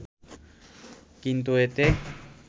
কিন্তু এতে